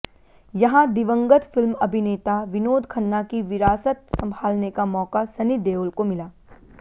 यहां दिवंगत फिल्म अभिनेता विनोद खन्ना की विरासत संभालने का मौका सनी देओल को मिला